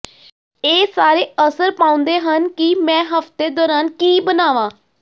ਇਹ ਸਾਰੇ ਅਸਰ ਪਾਉਂਦੇ ਹਨ ਕਿ ਮੈਂ ਹਫ਼ਤੇ ਦੌਰਾਨ ਕੀ ਬਣਾਵਾਂ